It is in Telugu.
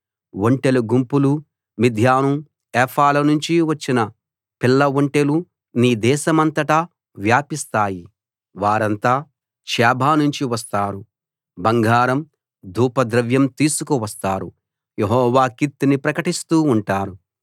ఒంటెల గుంపులూ మిద్యాను ఏఫాల నుంచి వచ్చిన పిల్ల ఒంటెలూ నీ దేశమంతటా వ్యాపిస్తాయి వారంతా షేబ నుంచి వస్తారు బంగారం ధూపద్రవ్యం తీసుకువస్తారు యెహోవా కీర్తిని ప్రకటిస్తూ ఉంటారు